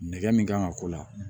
Nɛgɛ min kan ka k'o la